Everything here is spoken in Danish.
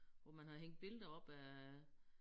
Hvor man har hængt billeder op af